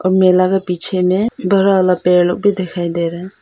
मेला का पीछे में बड़ा वाला पेड़ भी दिखाई दे रहा है।